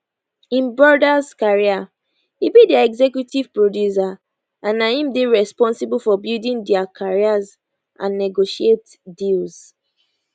im brothers career e be dia executive producer and na im dey responsible for building dia careers and negotiate deals